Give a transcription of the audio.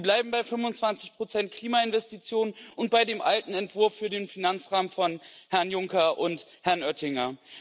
Sie bleiben bei 25 Klimainvestitionen und bei dem alten Entwurf für den Finanzrahmen von Herrn Juncker und Herrn Oettinger.